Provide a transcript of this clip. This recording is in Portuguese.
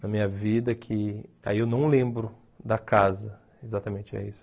Na minha vida que... aí eu não lembro da casa, exatamente é isso.